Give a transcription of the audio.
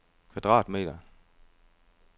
kvadratmeter